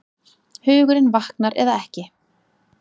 Hugurinn vaknar eða ekki.